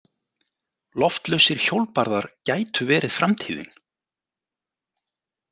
Loftlausir hjólbarðar gætu verið framtíðin.